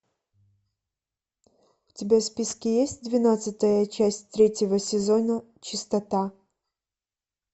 у тебя в списке есть двенадцатая часть третьего сезона чистота